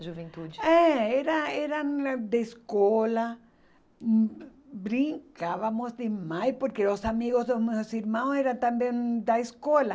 juventude. É, era era hum eh da escola, hum brincávamos demais, porque os amigos dos meus irmãos eram também da escola.